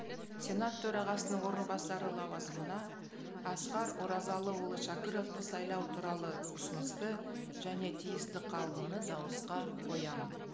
сенат төрағасының орынбасары лауазымына асқар оразалыұлы шәкіровты сайлау туралы ұсынысты және тиісті қаулыны дауысқа қоямын